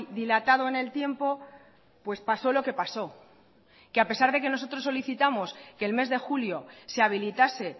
dilatado en el tiempo pues pasó lo que pasó que a pesar de que nosotros solicitamos que el mes de julio se habilitase